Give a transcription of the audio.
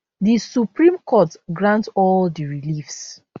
di supreme court grant all di reliefs